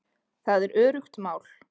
Það er öruggt mál